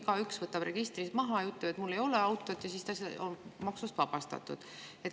Muidu igaüks võtab registrist maha ja ütleb, et tal ei ole autot, ja siis ta on maksust vabastatud.